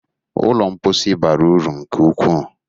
Ụlọ mposi bara uru nke ukwu.